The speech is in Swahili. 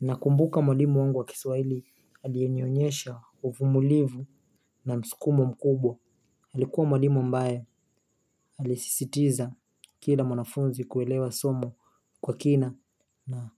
Nakumbuka mwalimu wangu wa kiswaili alienyonyesha ufumulivu na msukumo mkubwa. Alikuwa mwalimu ambae alisisitiza kila mwanafunzi kuelewa somo kwa kina na